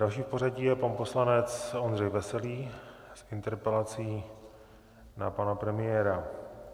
Další v pořadí je pan poslanec Ondřej Veselý s interpelací na pana premiéra.